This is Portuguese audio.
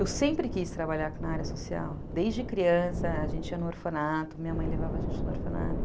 Eu sempre quis trabalhar na área social, desde criança, a gente ia no orfanato, minha mãe levava a gente no orfanato.